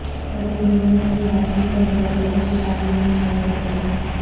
ابھینندن کی واپسی پر بالی وڈ سٹارز نے بچھائیں پلکیں